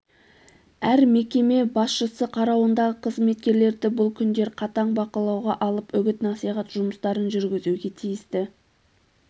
әр мекеме басшысы қарауындағы қызметкерлерді бұл күндер қатаң бақылауға алып үгіт-насихат жұмыстарын жүргізуге тиісті